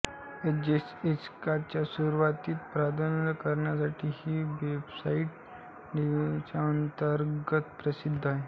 एजेएक्सच्या सुरुवातीस प्रारंभ करण्यासाठी ही वेबसाइट डेव्हलपर्सच्या अंतर्गत प्रसिद्ध आहे